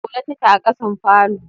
Zaune take a kasan falo.